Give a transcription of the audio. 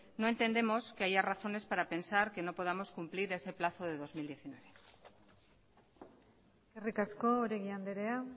no entendemos que haya razones para pensar que no podamos cumplir ese plazo de dos mil diecinueve eskerrik asko oregi andrea